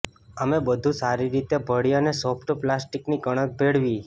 અમે બધું સારી રીતે ભળી અને સોફ્ટ પ્લાસ્ટિકની કણક ભેળવી